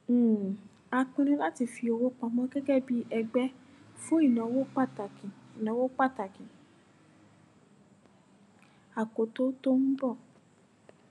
um a pinnu láti fi owó pamọ gégé bí ẹgbé fún ìnáwó pàtàkì ìnáwó pàtàkì àkókó tó n bọ